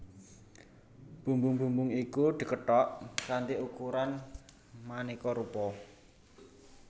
Bumbung bumbung iku dikethok kanthi ukuran manéka rupa